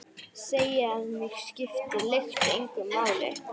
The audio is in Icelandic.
Segi að mig skipti lykt engu máli.